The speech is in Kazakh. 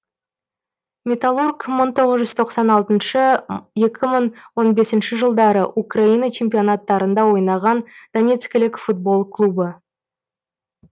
металлург мың тоғыз жүз тоқсан алтыншы екі мың он бесінші жылдары украина чемпионаттарында ойнаған донецкілік футбол клубы